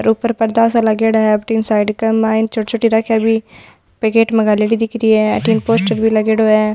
और ऊपर परदा सा लागेड़ा है साइड के माइन छोटी छोटी राखया भी पैकेट में घाली दिख रही है अठन पोस्टर भी लागेड़ो है।